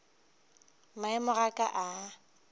maemo a ka ga a